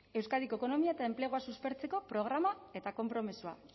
euskadiko ekonomia eta enplegua suspertzeko programa eta konpromezua